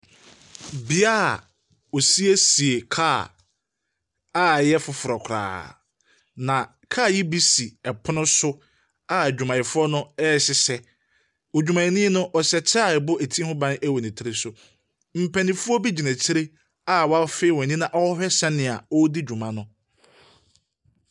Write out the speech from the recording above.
Bea a wɔsiesie kaa a ɛyɛ foforɔ koraa na kaa yi bi si pono so a adwumayɛfoɔ no ɛrehyehyɛ. Odwumayɛni no, ɔhyɛ kyɛ a ɛbɔ ti ho ban wɔ ne tiri so. Mpanimfoɔ gyina ekyire a wɔafee wɔn ani a wɔrehwɛ sɛdeɛ ɔredi dwuma no.